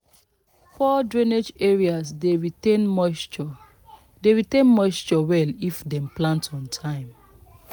poor drainage areas dey retain moisture dey retain moisture well if dem plant on time."